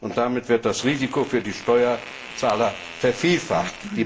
Und damit wird das Risiko für die Steuerzahler vervielfacht.